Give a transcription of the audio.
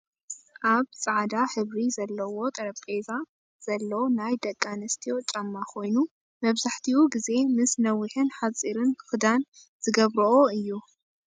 ኣብ ፃዕዳ ሕብሪ ዘለዎ ጠረጴዛ ዘሎ ናይ ደቂ ኣንስትዮ ጫማ ኮይኑ መብዛሕቲኡ ግዜ ምሰ ነዊሕን ሓፂርን ክዳን ዝገብረኦ እዩ ።